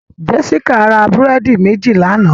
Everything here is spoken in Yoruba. Jessica ra búrẹ́dì méjì lánàá